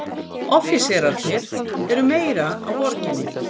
Offíserarnir eru meira á Borginni.